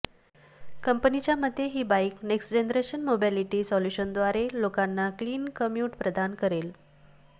कंपनीच्या मते ही बाईक नेक्स्ट जनरेशन मोबिलिटी सॉल्युशनद्वारे लोकांना क्लीन कम्यूट प्रदान करेल